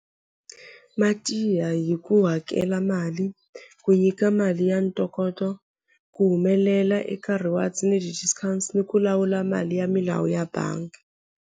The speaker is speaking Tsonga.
Ma tiya hi ku hakela mali ku nyika mali ya ntokoto ku humelela eka reward ni ni ku lawula mali ya milawu ya bangi.